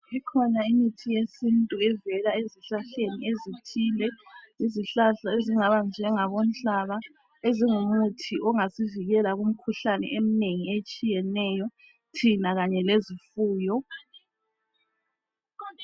Ikhona imithi yesintu evela ezihlahleni ezithile. Yizihlahla ezingaba njengabonhlaba ezingumuthi ongasivikela kumikhuhlane eminengi etshiyeneyo thina kanye lezifuyo.